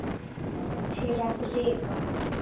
Til að lifa.